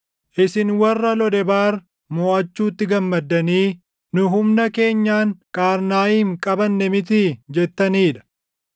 isin warra Lodebaar moʼachuutti gammaddanii, “Nu humna keenyaan Qaarnaayim qabanne mitii?” jettanii dha.